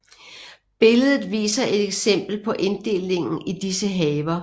Billedet viser et eksempel på inddelingen i disse haver